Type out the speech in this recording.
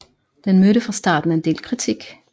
Den mødte fra starten en del kritik